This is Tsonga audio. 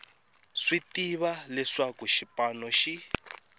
swi tiva leswaku xipano xi